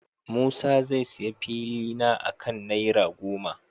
Musa zai sayi filina akan naira goma.